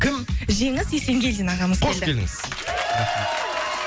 кім жеңіс есенгельдин ағамыз қош келдіңіз